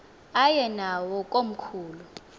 aye nawo komkhulu